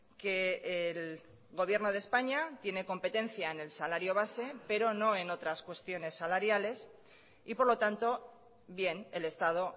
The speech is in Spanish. que el gobierno de españa tiene competencia en el salario base pero no en otras cuestiones salariales y por lo tanto bien el estado